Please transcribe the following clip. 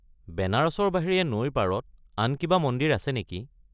বেনাৰসৰ বাহিৰে নৈৰ পাৰত আন কিবা মন্দিৰ আছে নেকি?